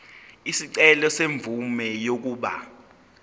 isicelo semvume yokuba